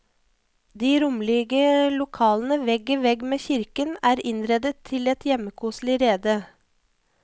De rommelige lokalene, vegg i vegg med kirken er innredet til et hjemmekoselig rede.